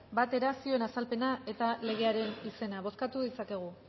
batera zioen azalpena eta legearen izena bozkatu ditzakegu